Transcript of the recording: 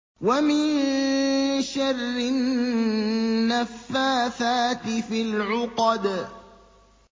وَمِن شَرِّ النَّفَّاثَاتِ فِي الْعُقَدِ